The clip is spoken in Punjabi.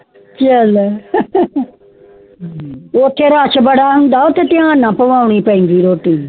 ਏ ਲੈ ਓ ਛੇ ਰਚ ਬੜਾ ਹੋਂਦ ਡੀਆਂ ਨਾ ਪਾਵਨੀ ਪੈਂਦੀ ਰੋਟੀ